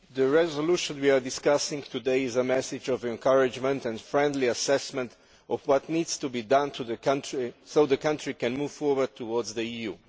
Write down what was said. Mr President, the resolution we are discussing today is a message of encouragement and a friendly assessment of what needs to be done so the country can move forward towards the EU.